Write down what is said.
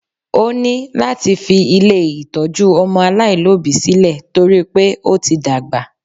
Ó ní láti fi ilé ìtọ́jú ọmọ aláìlóbìí sílẹ̀ torí pé ó ti dàgbà